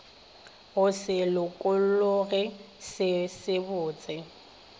go se lokologe se sebotse